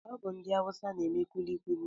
Ọ bụ ndị awusa n'eme kulikuli